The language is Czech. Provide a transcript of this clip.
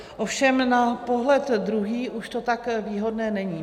Ovšem na pohled druhý už to tak výhodné není.